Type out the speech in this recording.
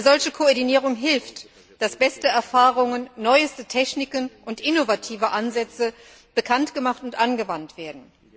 Eine solche Koordinierung hilft, dass beste Erfahrungen, neueste Techniken und innovative Ansätze bekannt gemacht und angewandt werden.